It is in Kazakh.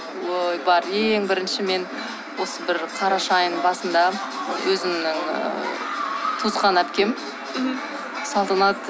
ой бар ең бірінші мен осы бір қараша айының басында өзімнің ыыы туысқан әпкем мхм салтанат